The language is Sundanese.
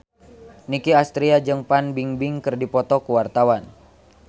Nicky Astria jeung Fan Bingbing keur dipoto ku wartawan